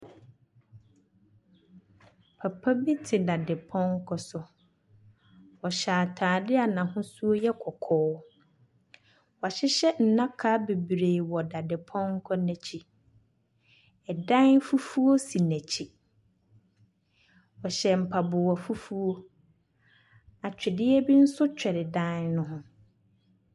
Papa bi te daade pɔnkɔ so. Ɔhyɛ ataade a n'ahosuo yɛ kɔkɔɔ. Wa hyehyɛ ndaka beberee wɔ daade pɔnkɔ n'akyi. Ɛdan fufuw si n'akyi. ɔhyɛ mpaboa fufuwo. atwedeɛ be nso kyere dan ne ho.